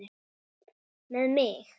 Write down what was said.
Með mig?